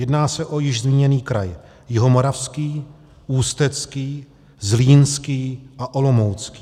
Jedná se o již zmíněný kraj Jihomoravský, Ústecký, Zlínský a Olomoucký.